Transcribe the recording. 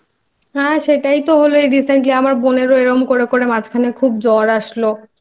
হ্যাঁ সেটাই তো হল এই Recently আমার বোনেরও এরকম করে করে মাঝখানে খুব জ্বর আসলো